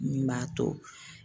Min b'a to.